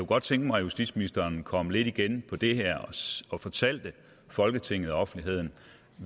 godt tænke mig at justitsministeren kom lidt igen på det her og fortalte folketinget og offentligheden